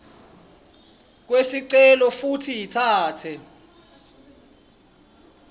kwesicelo futsi itsatse